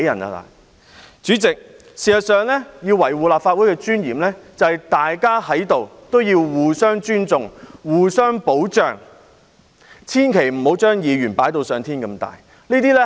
代理主席，事實上，要維護立法會的尊嚴，在於大家必須互相尊重、互相保障，千萬不要認為議員是至高無上。